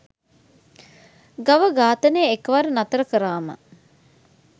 ගව ඝාතනය එකවර නතර කරාම